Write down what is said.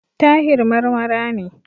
Tahir Marmara ne.